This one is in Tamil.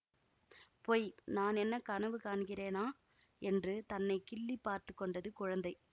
பொய் நான் என்ன கனவு காண்கிறேனா என்று தன்னை கிள்ளி பார்த்துக்கொண்டது குழந்தை